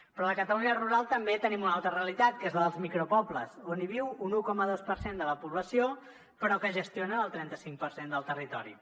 però a la catalunya rural també tenim una altra realitat que és la dels micropobles on hi viu un un coma dos per cent de la població però que gestionen el trenta cinc per cent del territori